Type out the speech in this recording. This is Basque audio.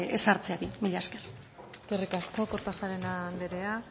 ezartzeari mila esker eskerrik asko kortajarena anderea